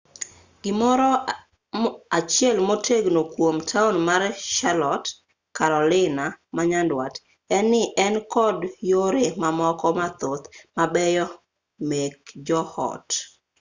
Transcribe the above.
gimoro achiel motegno kuom taon mar charlotte carolina manyandwat en-ni en kod yore mamoko mathoth mabeyo meke jo ot